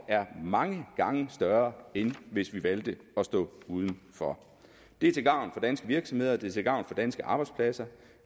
mange gange større end hvis vi valgte at stå udenfor det er til gavn for danske virksomheder det er til gavn for danske arbejdspladser